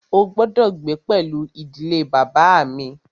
Ó gbọ́dọ̀ gbé pẹlú ìdílé bàbá à mi!